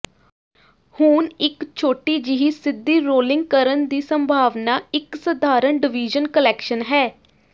ਹੁਣ ਇਕ ਛੋਟੀ ਜਿਹੀ ਸਿੱਧੀ ਰੋਲਿੰਗ ਕਰਨ ਦੀ ਸੰਭਾਵਨਾ ਇੱਕ ਸਧਾਰਨ ਡਿਵੀਜ਼ਨ ਕਲੈਕਸ਼ਨ ਹੈ